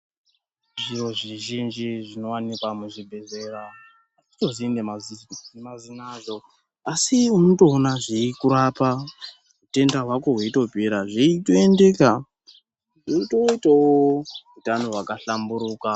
Zhiro zvizhinji zvinowanikwa muzvibhedhlera atitozivi nemazina azvo asi unotoona zveikurapa hutenda hwako hweitopera zveitondeka weitoitawo hutano hwakahlamburika.